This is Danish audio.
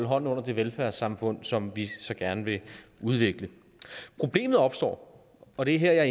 hånden under det velfærdssamfund som vi så gerne vil udvikle problemet opstår og her er